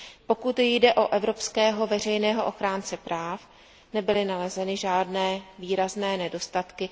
Pokud jde o evropského veřejného ochránce práv, nebyly nalezeny žádné výrazné nedostatky.